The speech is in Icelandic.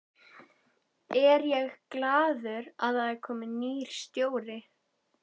Er ég glaður að það er kominn nýr stjóri?